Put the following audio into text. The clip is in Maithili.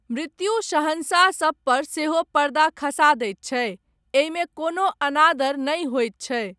मृत्यु शहंशाहसभ पर सेहो पर्दा खसा दैत छै, एहिमे कोनो अनादर नहि होयत छै।